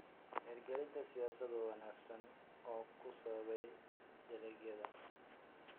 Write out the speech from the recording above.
Hirgelinta siyaasado wanaagsan oo ku saabsan dalagyada.